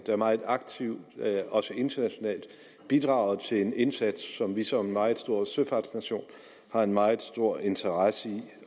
meget aktivt også internationalt bidrager til en indsats som vi som en meget stor søfartsnation har en meget stor interesse i